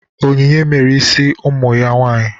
Onyinye mere isi ụmụ ya nwaanyị.